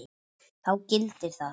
Þá gildir að